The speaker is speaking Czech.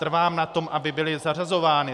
Trvám na tom, aby byly zařazovány.